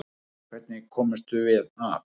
Hvernig komumst við af?